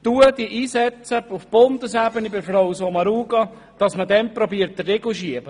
«Setze dich auf Bundesebene bei Frau Sommaruga ein, damit diesen Zuständen der Riegel vorgeschoben wird.